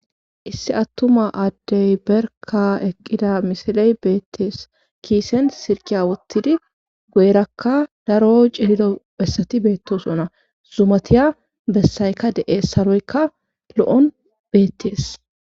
issi attuma addey berka eqqida misiley beettees kiisen sirkiya wottidi goyrakka daro cilido bessati beettosona zumatiya bessaykka de7es saroykka lo7on beettees